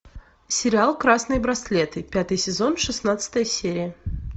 сериал красные браслеты пятый сезон шестнадцатая серия